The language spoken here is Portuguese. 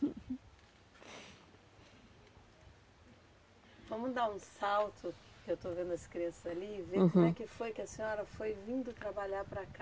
Vamos dar um salto, que eu estou vendo as crianças ali, uhum, e ver como é que foi que a senhora foi vindo trabalhar para cá.